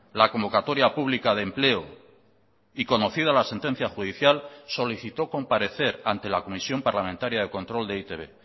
la convocatoria pública de empleo y conocida la sentencia judicial solicitó comparecer ante la comisión parlamentaria de control de e i te be